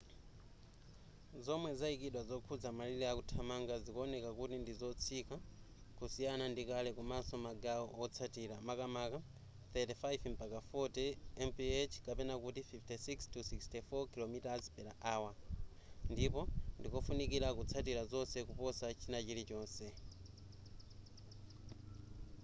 zomwe zayikidwa zokhuza malire akuthamanga zikuoneka kuti ndi zotsika kusiyana ndi kale komaso magawo otsatira - makamaka 35-40mph 56-64 km/h - ndipo ndikofunikira kutsatira zonse kuposa china chili chonse